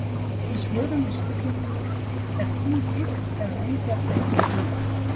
Í svörum við spurningunni: Er tún girt eða engjar eða jörðin öll?